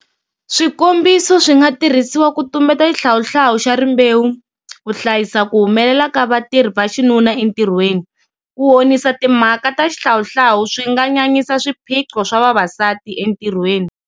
Swikombiso swi nga tirhisiwa ku tumbeta xihlawuhlawu xa rimbewu, ku hlayisa ku humelela ka vatirhi va xinuna entirhweni. Ku honisa timhaka ta xihlawuhlawu swi nga nyanyisa swiphiqo swa vavasati entirhweni.